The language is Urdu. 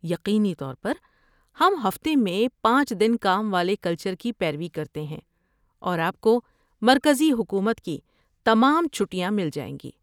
یقینی طور پر، ہم ہفتے میں پانچ دن کام والے کلچر کی پیروی کرتے ہیں اور آپ کو مرکزی حکومت کی تمام چھٹیاں مل جائیں گی